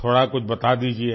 थोड़ा कुछ बता दीजिये